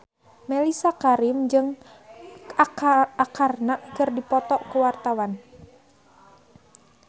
Mellisa Karim jeung Arkarna keur dipoto ku wartawan